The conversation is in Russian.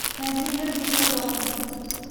найди мир дикого запада